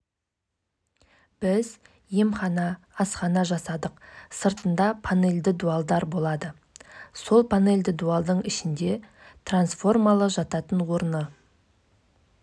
естеріңізге сала кететін болсақ маусымда халықаралық ауыр атлетика федерациясы қазақстандық илья ильинді қайталап тескергенде жылы пекин олимпиадасында допинг қабылдады деп ресми